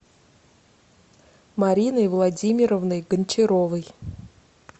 мариной владимировной гончаровой